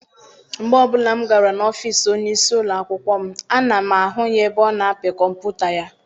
Mgbe ọbụla m gara n'ọfịịsi onyeisi ụlọakwụkwọ m, ana m ahụ ya ebe ọ na-apị kọmputa ya.